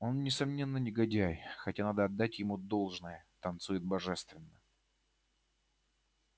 он несомненно негодяй хотя надо отдать ему должное танцует божественно